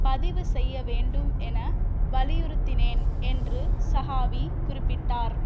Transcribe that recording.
பதிவு செய்ய வேண்டும் என வலியுறுத்தினேன் என்று சகாவி குறிப்பிட்டார்